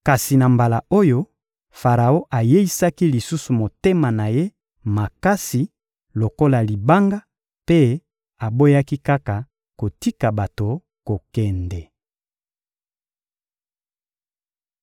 Kasi na mbala oyo, Faraon ayeisaki lisusu motema na ye makasi lokola libanga mpe aboyaki kaka kotika bato kokende.